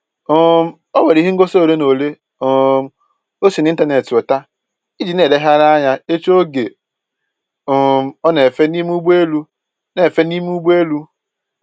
um Onwere ihe ngosi ole na ole um o si na ịntaneetị weta iji na-elegharị anya echi oge um ọ na-efe n'ime ụgbọelu na-efe n'ime ụgbọelu